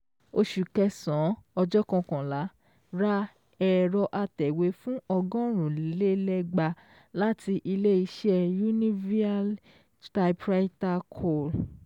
Oṣù kẹsàn-án ọjọ́ kọkànlá, ra èrò atẹ̀wé fún ọgọrun le ẹgbàá láti ilé-iṣẹ́ Univeal Typewriter Co